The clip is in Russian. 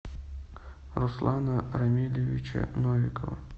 руслана рамилевича новикова